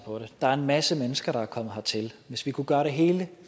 på det der er en masse mennesker der er kommet hertil hvis vi kunne gøre det hele